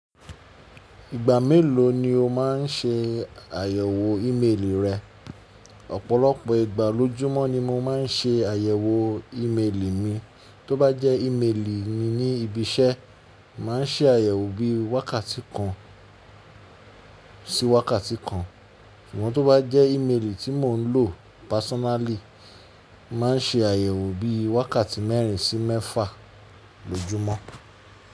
Ìgbà mélòó ni o má ń se àyẹ̀wò ímeèlì rẹ? Ọ̀pọ̀lọpọ̀ ìgbà lójúmọ́ ni mo má ń se àyẹ̀wò ímeèlì mi. Tó bá jẹ́ ímeèlì ni ibi iṣẹ́, mo màá ń se àyẹ̀wò bí i wákàtí kan sí wákàtí kan, ṣùgbọ́n tó bá jẹ́ ímeèlì tí mò ń lọ pàsínálì, mo màá ń se àyẹ̀wò bí i wákàtí mẹ́rin sí mẹ́fà lójúmọ́.